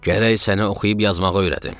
Gərək səni oxuyub yazmağı öyrədim.